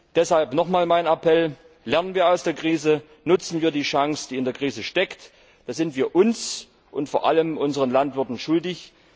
Deshalb hier noch einmal mein Appell Lernen wir aus der Krise, nutzen wir die Chance, die in der Krise steckt, das sind wir uns und vor allem unseren Landwirten schuldig!